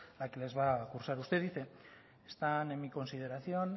la que les va a cursar usted dice están en mi consideración